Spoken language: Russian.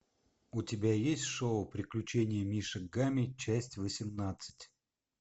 у тебя есть шоу приключения мишек гамми часть восемнадцать